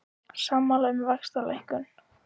Sammála um vaxtalækkun